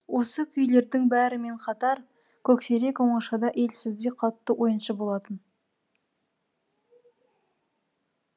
осы күйлердің бәрімен қатар көксерек оңашада елсізде қатты ойыншы болатын